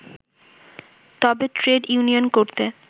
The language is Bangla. তবে ট্রেড ইউনিয়ন করতে